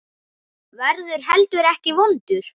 Verður heldur ekki vondur.